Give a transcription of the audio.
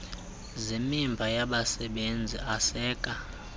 zemiba yezabasebenzi aseka